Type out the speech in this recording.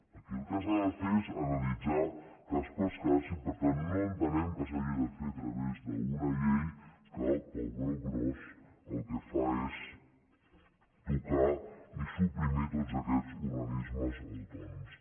aquí el que s’ha de fer és analitzar cas per cas i per tant no entenem que s’hagi de fer a través d’una llei que pel broc gros el que fa és tocar i suprimir tots aquests organismes autònoms